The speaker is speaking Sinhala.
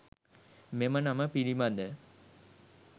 මෙම නම පිළිබඳ